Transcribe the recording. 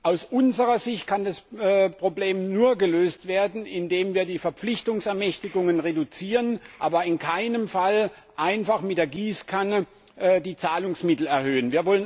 Aus unserer Sicht kann das Problem nur gelöst werden, indem wir die Verpflichtungsermächtigungen reduzieren, aber in keinem Fall einfach mit der Gießkanne die Zahlungsmittel erhöhen.